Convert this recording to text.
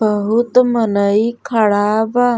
बहुत मनई खड़ा बा।